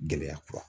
Gɛlɛya kura